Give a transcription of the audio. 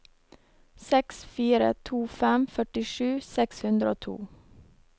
seks fire to fem førtisju seks hundre og to